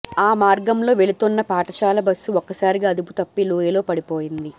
ఆ మార్గంలో వెళుతోన్న పాఠశాల బస్సు ఒక్కసారిగా అదుపుతప్పి లోయలో పడిపోయింది